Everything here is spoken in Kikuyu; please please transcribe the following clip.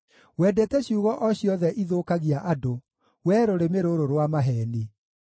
Wendete ciugo o ciothe ithũkagia andũ, wee rũrĩmĩ rũrũ rwa maheeni!